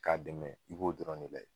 K'a dɛmɛ i b'o dɔrɔn ne layɛ.